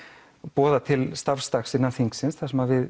boða til starfsdags þar sem við